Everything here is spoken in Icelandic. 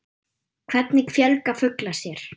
Hvernig fjölga fuglar sér.